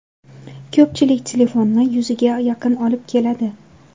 Ko‘pchilik telefonni yuziga yaqin olib keladi.